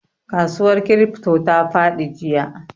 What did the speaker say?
Kasuwar crypto ta fadi jiya.